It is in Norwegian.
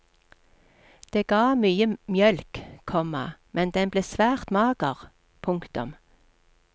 Det ga mye mjølk, komma men den ble svært mager. punktum